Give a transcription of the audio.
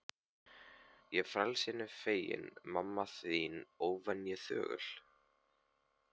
Ég frelsinu feginn, mamma þín óvenju þögul.